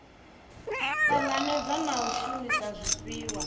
tanganedza na u shumisa zwifhiwa